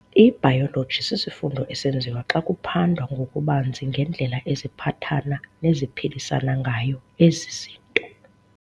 IBayoloji sisifundo esenziwa xa kuphandwa ngokubanzi ngendlela eziphathana neziphilisana ngayo ezi zinto